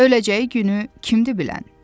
Öləcəyi günü kimdir bilən?